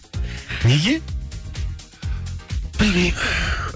неге білмеймін